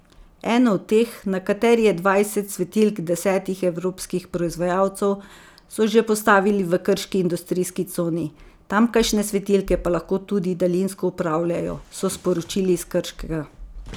Eno od teh, na kateri je dvajset svetilk desetih evropskih proizvajalcev, so že postavili v krški industrijski coni, tamkajšnje svetilke pa lahko tudi daljinsko upravljajo, so še sporočili iz Krškega.